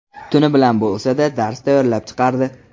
Tuni bilan bo‘lsa-da, dars tayyorlab chiqardi.